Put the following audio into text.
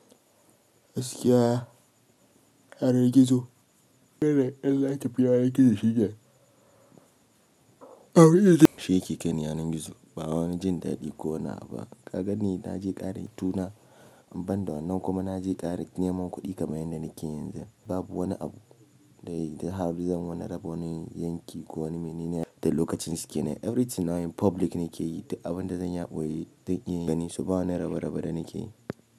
A gaskiya, yanan gizo, duk da ƴan zaki biya yaren gizo shi yake. Abin da shi yake kan yanan gizo ba wani jin daɗi ko wani abu ba. Ka ganni na je ƙarin tuna inbanda wannan kuma na je ƙara yin neman kuɗi kamar yadda nake yanzu. Babu wani abu da har da zan mana raba wani yanki ko wani yanki da lokacin su ke nan. Everything nawa in public nake yi duk abun da zanyi a ɓoye zan iya gani su ba wani rabe rabe da nake yi.